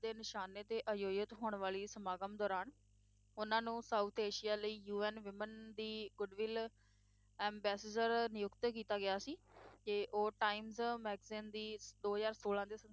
ਦੇ ਨਿਸ਼ਾਨੇ 'ਤੇ ਆਯੋਜਿਤ ਹੋਣ ਵਾਲੀ ਸਮਾਗਮ ਦੌਰਾਨ ਉਨ੍ਹਾਂ ਨੂੰ south asia ਲਈ UN women ਦੀ goodwill ambassador ਨਿਯੁਕਤ ਕੀਤਾ ਗਿਆ ਸੀ ਤੇ ਉਹ times magazine ਦੀ ਦੋ ਹਜ਼ਾਰ ਸੋਲਾਂ ਦੇ